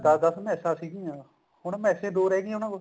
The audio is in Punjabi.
ਦਸ ਦਸ ਮੈਸਾਂ ਸੀਗੀਆਂ ਹੁਣ ਮੇਸਾਂ ਹੀ ਦੋ ਰਿਹ ਗਈਆਂ ਉਹਨਾ ਕੋਲ